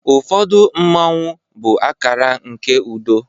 ụfọdụ Mmanwu bụ akara nke udo